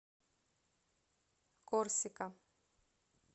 корсика